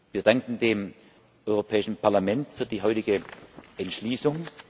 Wir danken dem Europäischen Parlament für die heutige Entschließung.